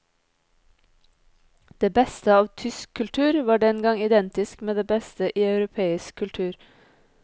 Det beste av tysk kultur var dengang identisk med det beste i europeisk kultur.